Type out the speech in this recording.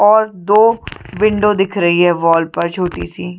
और दो विंडो दिख रही है वाल पर छोटी सी --